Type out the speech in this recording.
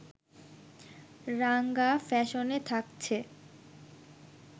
রাঙা ফ্যাশনে থাকছে